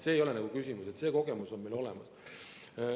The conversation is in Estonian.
See ei ole üldse küsimus, see kogemus on meil olemas.